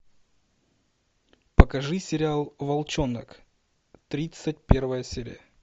покажи сериал волчонок тридцать первая серия